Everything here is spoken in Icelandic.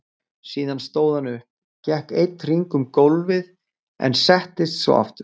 Síðan stóð hann upp, gekk einn hring um gólfið en settist svo aftur.